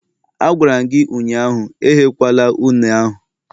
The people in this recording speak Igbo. Agwara m gi ụnyahụ, ehekwala une ahu!